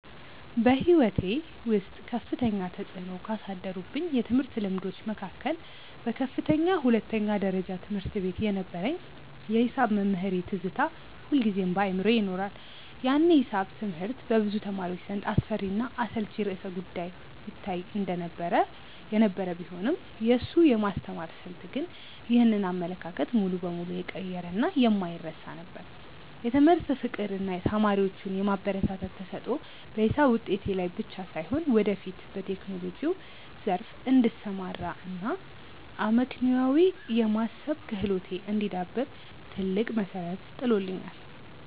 በሕይወቴ ውስጥ ከፍተኛ ተፅዕኖ ካሳደሩብኝ የትምህርት ልምዶች መካከል በከፍተኛ ሁለተኛ ደረጃ ትምህርት ቤት የነበረኝ የሒሳብ መምህሬ ትዝታ ሁልጊዜም በአእምሮዬ ይኖራል። ያኔ ሒሳብ ትምህርት በብዙ ተማሪዎች ዘንድ እንደ አስፈሪና አሰልቺ ርዕሰ-ጉዳይ ይታይ የነበረ ቢሆንም፣ የእሱ የማስተማር ስልት ግን ይህንን አመለካከት ሙሉ በሙሉ የቀየረና የማይረሳ ነበር። የትምህርት ፍቅር እና ተማሪዎቹን የማበረታታት ተሰጥኦ በሒሳብ ውጤቴ ላይ ብቻ ሳይሆን፣ ወደፊት በቴክኖሎጂው ዘርፍ እንድሰማራ እና አመክንዮአዊ የማሰብ ክህሎቴ እንዲዳብር ትልቅ መሠረት ጥሎልኛል።